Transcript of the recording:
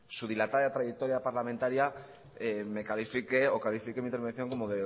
su dilatada trayectoria parlamentaria me califique o califique mi intervención como